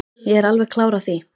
Ég er alveg klár á því.